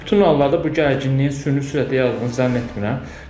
Bütün hallarda bu gərginliyin süni sürətdə yayıldığını zənn etmirəm.